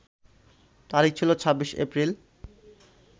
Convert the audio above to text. তারিখ ছিল ২৬ এপ্রিল